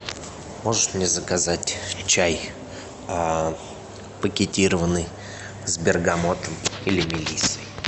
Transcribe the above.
можешь мне заказать чай пакетированный с бергамотом или мелиссой